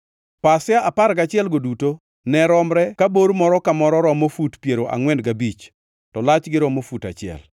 Pasia apar gachielgo duto ne romre ka bor moro ka moro romo fut piero angʼwen gabich to lachgi romo fut auchiel.